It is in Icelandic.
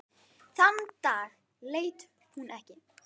Þann dag leit hún ekki.